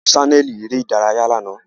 A wo ṣaneli ere idaraya lana.